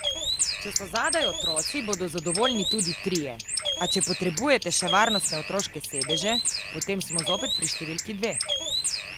Če so zadaj otroci, bodo zadovoljni tudi trije, a če potrebujete še varnostne otroške sedeže, potem smo zopet pri številki dve.